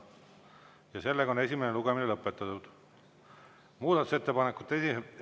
Muudatusettepanekute esitamise tähtaeg on käesoleva aasta 11. veebruar kell 17.15.